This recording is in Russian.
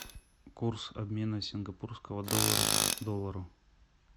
курс обмена сингапурского доллара к доллару